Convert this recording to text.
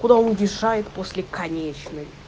куда он решает после конечной